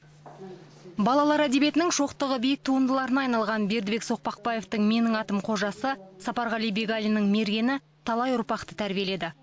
балалар әдебиетінің шоқтығы биік туындыларына айналған бердібек соқпақбаевтың менің атым қожасы сапарғали бегалиннің мергені талай ұрпақты тәрбиеледі